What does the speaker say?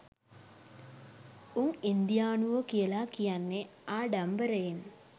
උන් ඉන්දියානුවෝ කියලා කියන්නේ ආඩම්බරයෙන්